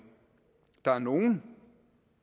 der er nogle